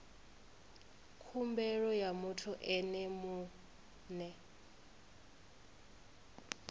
khumbelo ya muthu ene mue